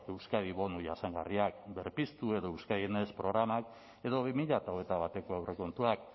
euskadi bono jasangarria berpiztu edo euskadi next programa edo bi mila hogeita bateko aurrekontuak